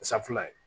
Safunɛ